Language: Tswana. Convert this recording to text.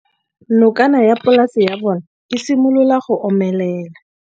Nokana ya polase ya bona, e simolola go omelela.